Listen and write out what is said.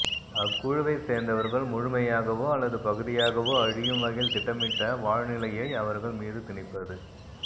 அக்குழுவைச் சேர்ந்தவர்கள் முழுமையாகவோ அல்லது பகுதியாகவோ அழியும் வகையில் திட்டமிட்ட வாழ்நிலையை அவர்கள் மீது திணிப்பது